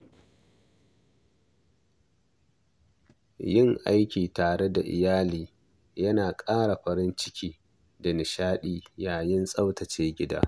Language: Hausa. Yin aiki tare da iyali yana ƙara farin ciki da nishaɗi yayin tsaftace gida.